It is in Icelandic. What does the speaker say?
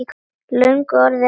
Löngu orðin hefð.